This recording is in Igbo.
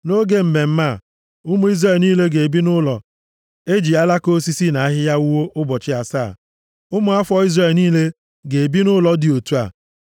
Nʼoge mmemme a, ụmụ Izrel niile ga-ebi nʼụlọ e ji alaka osisi na ahịhịa wuo ụbọchị asaa. Ụmụ afọ Izrel niile ga-ebi nʼụlọ dị otu a.